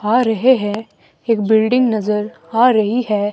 आ रहे हैं एक बिल्डिंग नजर आ रही है।